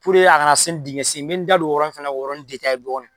Puruke a kana se ni dingɛ sen ye n bɛ n da don o yɔrɔnin fana na k'o yɔrɔnin fana dɔɔni.